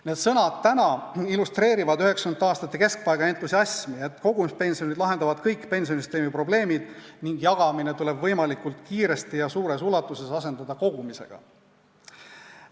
" Need sõnad illustreerivad täna 1990. aastate keskpaiga entusiasmi, et kogumispension lahendab kõik pensionisüsteemi probleemid ning jagamine tuleb võimalikult kiiresti ja suures ulatuses asendada kogumisega.